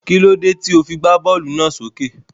kílódé tí o fi gbá bọ́ọ́lù náà lọ s'ókè?